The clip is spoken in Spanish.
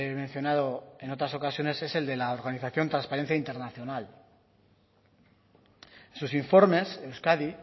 mencionado en otras ocasiones es el de la organización transparencia internacional en sus informes euskadi